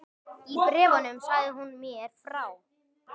Í bréfunum sagði hún mér frá